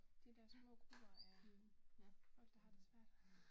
De der små grupper af folk der har det svært